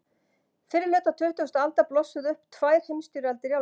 Fyrri hluta tuttugustu aldar blossuðu upp tvær heimsstyrjaldir í álfunni.